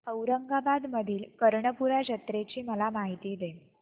औरंगाबाद मधील कर्णपूरा जत्रेची मला माहिती दे